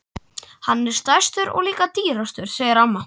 Hann er stærstur og líka dýrastur segir amma.